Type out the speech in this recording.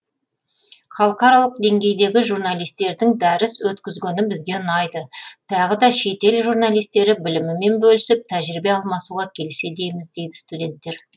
халықаралық деңгейдегі журналистердің дәріс өткізгені бізге ұнайды тағы да шет ел журналистері білімімен бөлісіп тәжірибе алмасуға келсе дейміз дейді студенттер